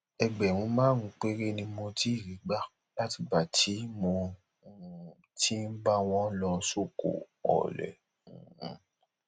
ẹgbẹrún márùnún péré ni mo ti rí gbà látìgbà tí mo um ti ń bá wọn lọ sóko ọlẹ um